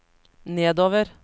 nedover